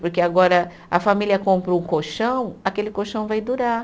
Porque agora a família compra um colchão, aquele colchão vai durar.